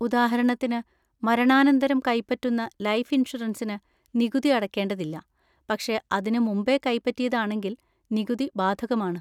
ഉദാഹരണത്തിന്, മരണാനന്തരം കൈപ്പറ്റുന്ന ലൈഫ് ഇൻഷുറൻസിന് നികുതി അടക്കേണ്ടതില്ല, പക്ഷെ അതിന് മുമ്പേ കൈപറ്റിയതാണെങ്കിൽ നികുതി ബാധകമാണ്.